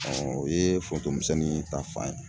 o ye forontomisɛnnin ta fan ye.